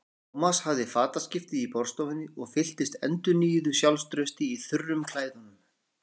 Thomas hafði fataskipti í borðstofunni og fylltist endurnýjuðu sjálfstrausti í þurrum klæðunum.